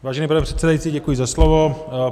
Vážený pane předsedající, děkuji za slovo.